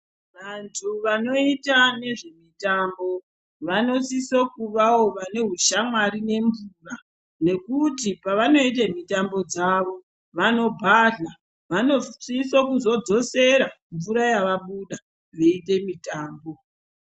Vandu vanoita nezve mutambo vanosisa kuvawo vane ushamwari nemvura nekuti pavanoita mutambo dzavo vanobhahla vanosisa kuzodzosera mvura yavabuda veita mutambo